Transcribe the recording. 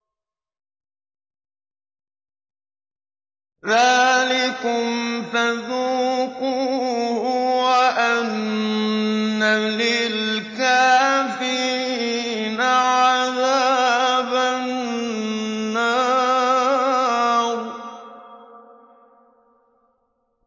ذَٰلِكُمْ فَذُوقُوهُ وَأَنَّ لِلْكَافِرِينَ عَذَابَ النَّارِ